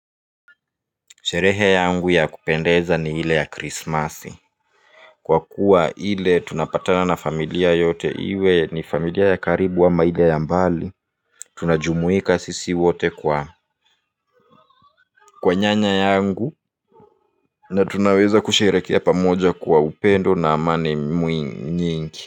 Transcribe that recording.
Sherehe yangu ya kupendeza ni hile ya Krismasi. Kwa kuwa ile tunapatana na familia yote iwe ni familia ya karibu ama ile ya mbali. Tunajumuika sisi wote kwa kwa nyanya yangu na tunaweza kusherehekea pamoja kwa upendo na amani nyingi.